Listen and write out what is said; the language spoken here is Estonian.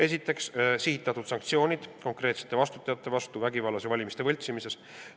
Esiteks, rakendada sihitatud sanktsioone konkreetsete vastutajate suhtes seoses vägivallaga ja valimiste võltsimisega.